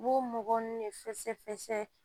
U b'o mɔgɔ nun ne fɛsɛfɛsɛ